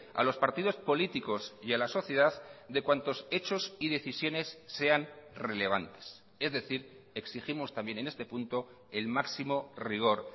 a los partidos políticos y a la sociedad de cuantos hechos y decisiones sean relevantes es decir exigimos también en este punto el máximo rigor